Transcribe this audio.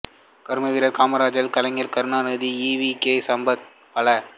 கர்மவீரர் காமராசர் கலைஞர் கருணாநிதி ஈ வி கே சம்பத் பழ